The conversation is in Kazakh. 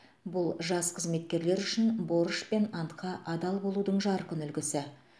бұл жас қызметкерлер үшін борыш пен антқа адал болудың жарқын үлгісі